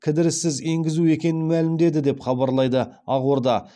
кідіріссіз енгізу екенін мәлімдеді деп хабарлайды ақорда